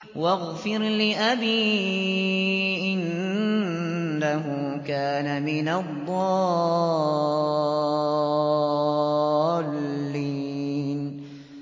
وَاغْفِرْ لِأَبِي إِنَّهُ كَانَ مِنَ الضَّالِّينَ